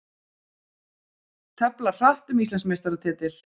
Tefla hratt um Íslandsmeistaratitil